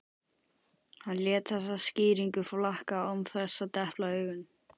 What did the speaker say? Hann lét þessa skýringu flakka án þess að depla auga.